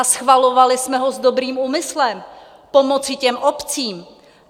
A schvalovali jsme ho s dobrým úmyslem pomoci těm obcím.